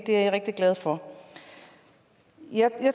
det er jeg rigtig glad for jeg